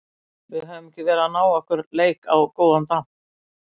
Við höfum ekki verið að ná okkar leik á góðan damp.